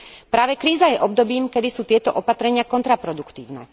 Práve kríza je obdobím, kedy sú tieto opatrenia kontraproduktívne.